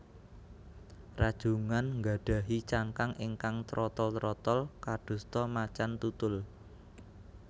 Rajungan nggadhahi cangkang ingkang trotol trotol kadosta macan tutul